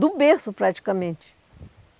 do berço, praticamente.